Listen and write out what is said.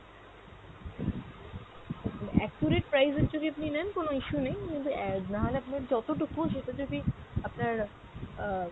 accurate price এর যদি আপনি নেন কোনো issue নেই কিন্তু আহ নাহলে আপনার যতটুকু সেটা যদি আপনার আহ